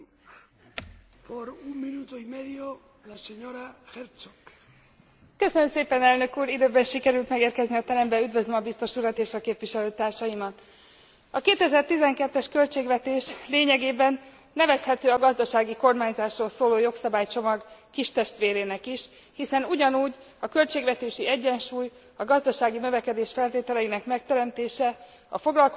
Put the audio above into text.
Üdvözlöm a biztos urat és a képviselőtársaimat! A 2012 es költségvetés lényegében nevezhető a gazdasági kormányzásról szóló jogszabálycsomag kistestvérének is, hiszen ugyanúgy a költségvetési egyensúly, a gazdasági növekedés feltételeinek megteremtése, a foglalkoztatottság, a versenyképesség növelése a cél megfelelő gazdaságpolitikai, költségvetésipolitikai eszközök alkalmazásával.